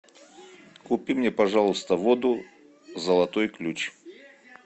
купи мне пожалуйста воду золотой ключ